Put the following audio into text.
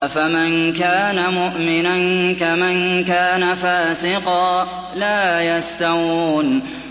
أَفَمَن كَانَ مُؤْمِنًا كَمَن كَانَ فَاسِقًا ۚ لَّا يَسْتَوُونَ